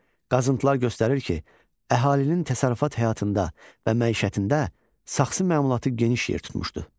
Qazıntılar göstərir ki, əhalinin təsərrüfat həyatında və məişətində saxsı məmulatı geniş yer tutmuşdu.